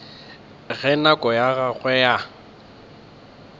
ge nako ya gagwe ya